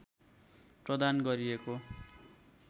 प्रदान गरिएको